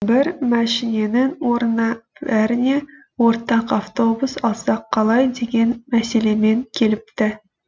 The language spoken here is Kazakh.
бір мәшіненің орнына бәріңе ортақ автобус алсақ қалай деген мәселемен келіпті